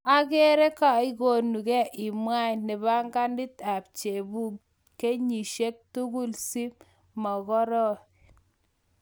agere kaigonugee imwet napkenit ap chabuug kenyisieg tugul si mogoren